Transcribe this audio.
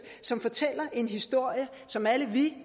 som fortæller en historie som alle vi